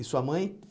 E sua mãe?